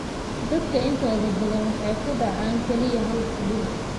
Dadka intooda badan waxay ku dhacaan kaliya hal xubin.